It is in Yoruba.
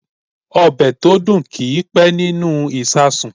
Ọ̀bẹ̀ tó dùn kì í pẹ́ nínú ìsàsùn.